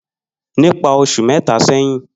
Nipa osu meta seyin.